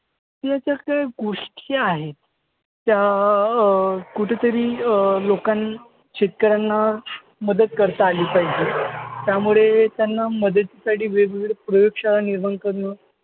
या ज्या काही गोष्टी आहेत त्या अं कुठंतरी अं लोकांनी शेतकऱ्यांना मदत करता आली पाहिजे. त्यामुळे त्यांना मदतीसाठी वेगवेगळ्या प्रयोगशाळा निर्माण करणं